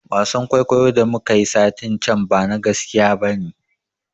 Wasan kuikuyo da muka yi satin can bana gaskiya bane